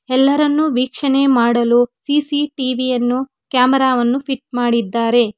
ಎಲ್ಲರನ್ನೂ ವೀಕ್ಷಣೆ ಮಾಡಲು ಸಿ_ಸಿ_ಟಿ_ವಿ ಯನ್ನು ಕ್ಯಾಮೆರಾ ವನ್ನು ಫಿಟ್ ಮಾಡಿದ್ದಾರೆ.